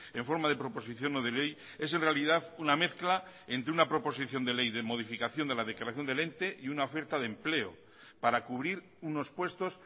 en forma de proposición no de ley es en realidad una mezcla entre una proposición de ley de modificación de la declaración del ente y una oferta de empleo para cubrir unos puestos